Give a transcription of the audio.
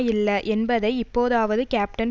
இல்ல என்பதை இப்போதாவது கேப்டன்